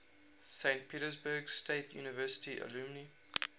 saint petersburg state university alumni